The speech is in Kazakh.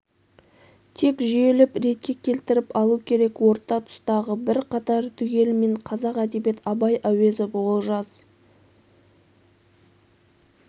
тек жүйелеп ретке келтіріп алу керек орта тұстағы бір қатар түгелімен қазақ әдебиет абай әуезов олжас